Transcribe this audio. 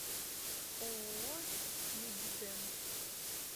ооо медидент